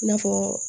I n'a fɔ